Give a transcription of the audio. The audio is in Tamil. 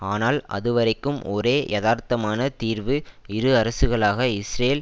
ஆனால் அதுவரைக்கும் ஒரே யதார்த்தமான தீர்வு இரு அரசுகளாக இஸ்ரேல்